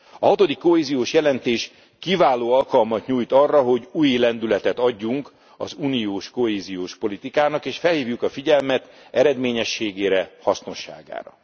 A hatodik kohéziós jelentés kiváló alkalmat nyújt arra, hogy új lendületet adjunk az uniós kohéziós politikának, és felhívjuk a figyelmet eredményességére, hasznosságára.